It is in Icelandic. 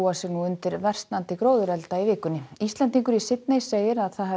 sig undir versnandi gróðurelda í vikunni Íslendingur í Sydney segir að